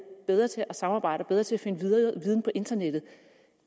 bedre til at samarbejde og bedre til at finde viden på internettet